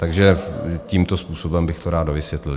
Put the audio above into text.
Takže tímto způsobem bych to rád dovysvětlil.